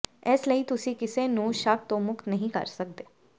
ਇਸ ਲਈ ਤੁਸੀਂ ਕਿਸੇ ਨੂੰ ਸ਼ੱਕ ਤੋਂ ਮੁਕਤ ਨਹੀਂ ਕਰ ਸਕਦੇ